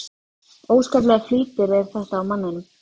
Óskaplegur flýtir er þetta á manninum.